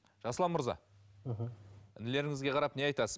жасұлан мырза мхм інілеріңізге қарап не айтасың